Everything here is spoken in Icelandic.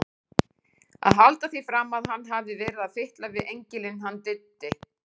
Að halda því fram að hann hafi verið að fitla við engilinn hann Diddi!